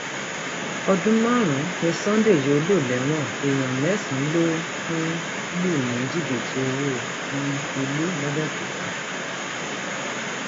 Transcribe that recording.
ọdún márùnún ni sunday yóò lò lẹwọn èèyàn mẹsànán ló um lù ní jìbìtì owó um ilé làbẹòkúta